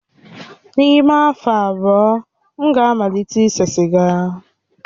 N'ime afọ abụọ, m ga-amalite ise siga.